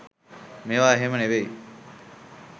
මේවා එහෙම නෙවෙයි